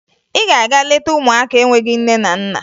Ị ga-aga leta ụmụaka enweghi nne na nna